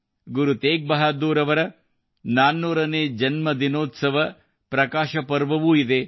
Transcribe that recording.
ಗುರು ತೇಗ್ ಬಹಾದ್ದೂರ್ ಅವರ 400ನೇ ಜನ್ಮ ಶತಮಾನೋತ್ಸವದ ಪ್ರಕಾಶ ಪರ್ವವೂ ಇದೆ